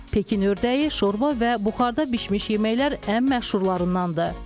Pekin ördəyi, şorba və buxarda bişmiş yeməklər ən məşhurlarındandır.